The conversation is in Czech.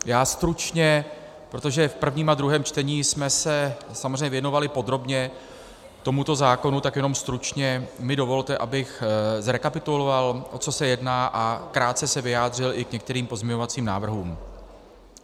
Já stručně, protože v prvním a druhém čtení jsme se samozřejmě věnovali podrobně tomuto zákonu, tak jenom stručně mi dovolte, abych zrekapituloval, o co se jedná, a krátce se vyjádřil i k některým pozměňovacím návrhům.